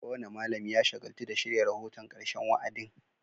Kowane malami ya shagaltu da shirya rahoton karshen wa'adin